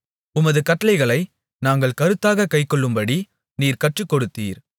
உமது கட்டளைகளை நாங்கள் கருத்தாகக் கைக்கொள்ளும்படி நீர் கற்றுக்கொடுத்தீர்